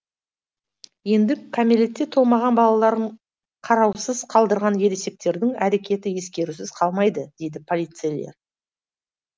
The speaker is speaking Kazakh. енді кәмелетке толмаған балаларын қараусыз қалдырған ересектердің әрекеті ескерусіз қалмайды дейді полицейлер